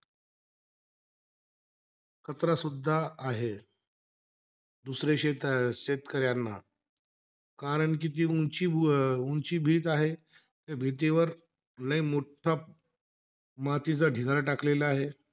सुद्धा आहे. दुसरे शेत अं शेतकऱ्यांना. कारण कि ती उंची अं उंची भीत आहे त्या भीतीवर लई मोठा मातीचा ढिगारा टाकलेला आहे.